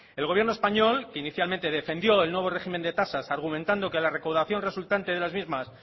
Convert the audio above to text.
el gobierno español que inicialmente defendió el nuevo régimen de tasas argumentando que la recaudación resultante de las mismas